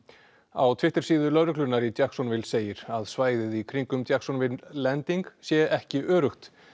á lögreglunnar í segir að svæðið í kringum Jacksonville Landing sé ekki öruggt